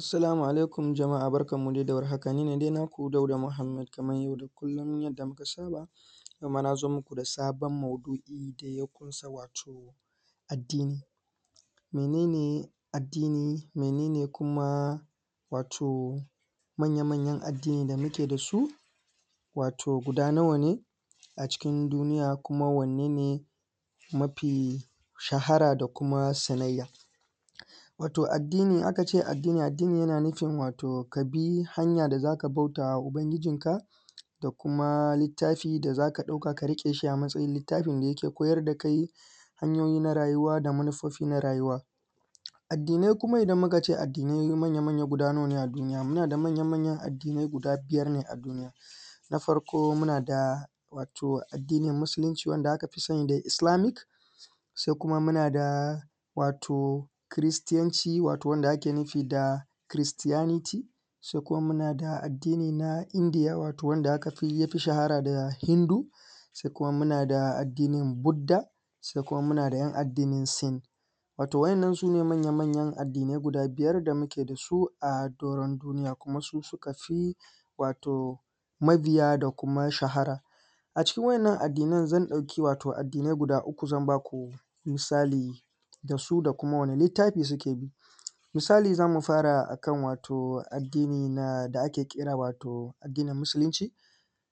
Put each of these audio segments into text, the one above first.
Assalamu alaikum jama'a barkanmu dai da warhaka. Ni ne dai naku Dauda Muhammed, kamar yau da kullum yadda muka saba, yau ma na zo muku da sabon maudu'i, da ya ƙunsa wato addini. Mene ne addini? Mene ne kuma wato manya-manyan addini da muke da su, wato guda nawa ne, a cikin duniya, kuma wanne ne mafi shahara da kuma sanayya? shahara da kuma sanayya? Wato addini, in aka ce addini, addini yana nufin wato ka bi hanya da za ka bauta wa Ubangijinka, da kuma littafi da za ka ɗauka ka riƙe shi a matsayin littafin da yake koyar da kai hanyoyi na rayuwa da manufofi na rayuwa. Addinai kuma, idan muka ce addinai manya-manyan guda nawa ne a duniya? Muna da manya-manyan addinai guda biyar ne a duniya. Na farko muna da wato addinin Musulunci wanda aka fi sani da Islamic. Sai kuma muna da wato Kiristiyanci wato wanda ake nufi da Christianity. Sai kuma muna da addini na Indiya wato wanda aka fi wato ya fi shahara da Hindu. Sai kuma muna da addinin Buddha. Sai kuma muna da 'yan addinin Sin. Wato wa'yannan su ne manya-manyan addinai guda biyar da muke da su a doron duniya, kuma su suka fi wato mabiya da kuma shahara. A cikin wa'yannan addinan. Zan ɗauki wato addinai guda uku, zan ba ku misali da su da kuma wane littafi suke bi? Misali za mu fara a kan wato addinin nan da ake kira wato addinin Musulunci.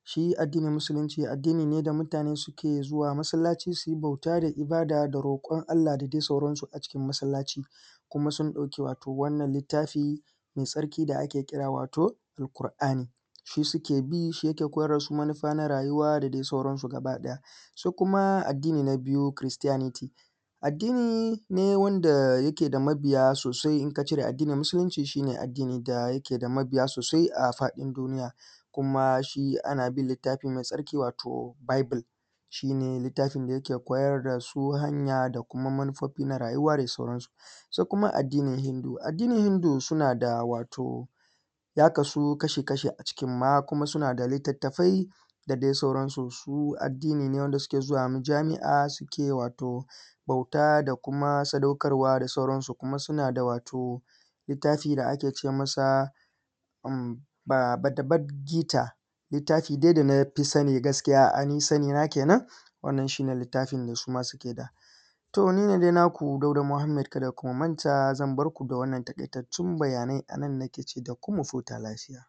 Shi addinin Musulunci addini ne da mutane suke zuwa masallaci su yi bauta da ibada da roƙon Allah da dai sauransu a cikin masallaci. Kuma sun ɗauki wato wannan littafi mai tsarki da ake kira wato Alƙur'ani, shi suke bi shi yake koyar da su manufa na rayuwa da dai sauransu gabaɗaya. Su kuma addini na biyu, Christianity, addini ne wanda da yake da mabiya sosai in ka cire addinin Musulunci shi ne addini da yake da mabiya sosai a faɗin duniya, kuma shi ana bin littafi mai tsarki wato Bible, shi ne littafin da yake koyar da su hanya da kuma manufofi na rayuwa da sauransu. Sai kuma addinin Hindu. Addinin Hindu suna da wato ya kasu kashi-kashi a cikin ma kuma suna da littattafai da dai sauransu. Su addini ne wanda suke zuwa Majami'a suke wato bauta da kuma sadaukarwa da sauransu kuma suna da wato littafi da ake ce masa umm, Batabatgita. littafi dai da na fi sani gaskiya, ainihin sanina ke nan, wannan shi ne littafin da su ma suke da. To ni ne dai naku Dauda Muhammed. Kada ku manta zan bar ku da wannan taƙaitattun bayanai a nan nake ce da ku mu futa lafiya.